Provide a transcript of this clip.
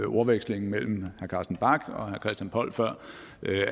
ordvekslingen mellem herre carsten bach og herre christian poll før